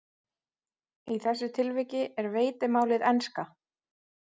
Einusinni makaði Doddi sápu á kranann en það virtist ekki hafa nein áhrif.